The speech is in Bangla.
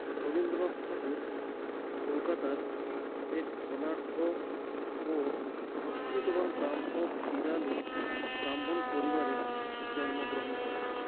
রবীন্দ্রনাথ ঠাকুর কোলকাতার এক ধনাঢ্য ও সংস্কৃতবান ব্রাহ্ম পেড়ালী ব্রাহ্মণ পরিবারে জন্মগ্রহণ করেন